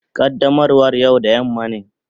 Qaddamarwa yau da yamma ne.